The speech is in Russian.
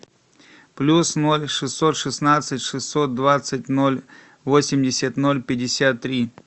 плюс ноль шестьсот шестнадцать шестьсот двадцать ноль восемьдесят ноль пятьдесят три